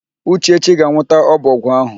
Uchechi ga-anwụta ọbọgwụ áhụ̀.